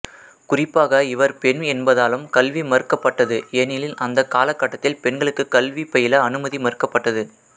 குறிப்பாக இவர் பெண் என்பதாலும் கல்வி மறுக்கப்பட்டது ஏனெனில் அந்தக் காலகட்டத்தில் பெண்களுக்கு கல்வி பயில அனுமதி மறுக்கப்பட்டது